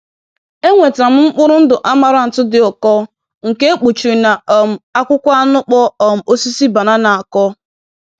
Enwetara m mkpụrụ ndụ amaranth dị ụkọ nke e kpuchiri na um akwụkwọ anụkpọ um osisi banana akọr